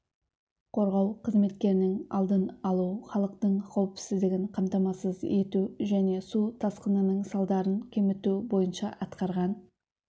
қорғау қызметтерінің алдын алу халықтың қауіпсіздігін қамтамасыз ету және су тасқынның салдарын кеміту бойынша атқарған